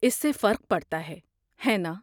اس سے فرق پڑتا ہے، ہے ناں؟